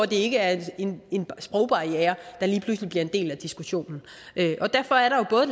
det ikke er en sprogbarriere der lige pludselig bliver en del af diskussionen derfor er der jo både